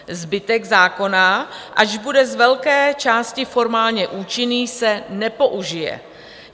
Zbytek zákona, ač bude z velké části formálně účinný, se nepoužije.